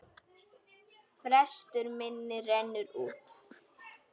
Frestur minn rennur út.